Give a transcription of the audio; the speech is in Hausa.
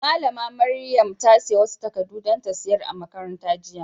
Malami Maryam ta siya wasu takadu dan ta sayar a'makaranta jiya.